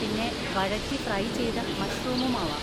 പിന്നെ വഴറ്റി ഫ്രൈ ചെയ്ത മഷ്‌റൂമും ആവാം.